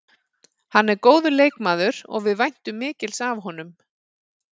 Hann er góður leikmaður og við væntum mikils af honum.